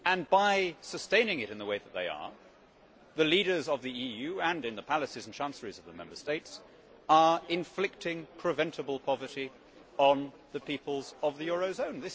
By sustaining it in the way that they are, the leaders of the EU and in the palaces and chancelleries of the Member States are inflicting preventable poverty on the peoples of the eurozone.